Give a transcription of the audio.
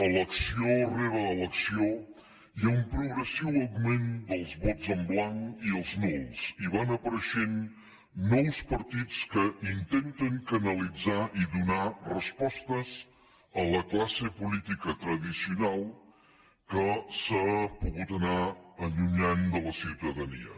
elecció rere elecció hi ha un progressiu augment dels vots en blanc i els nuls i van apareixent nous partits que intenten canalitzar i donar respostes a la classe política tradicional que s’ha pogut anar allunyant de la ciutadania